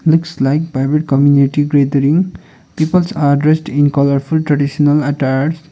looks like private community grathering peoples are dressed in colourful traditional attires.